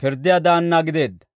pirddiyaa daanna gideedda.